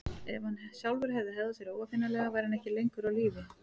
En ef hann sjálfur hefði hegðað sér óaðfinnanlega væri hann ekki lengur á lífi.